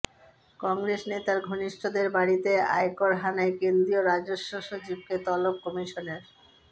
কংগ্রেস নেতার ঘনিষ্ঠদের বাড়িতে আয়কর হানায় কেন্দ্রীয় রাজস্ব সচিবকে তলব কমিশনের